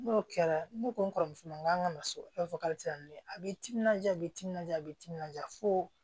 N'o kɛra ne ko n kɔrɔmuso ma k'an ka na so i b'a fɔ k'a tɛ taa ni ye a bɛ timinanja a bɛ timinadiya b'i timinadiya foo